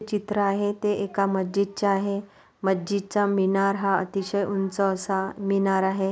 चित्र आहे ते एका मस्जिद चे आहे मस्जिद चा मीनार हा अतिशय उंच असा मीनार आहे.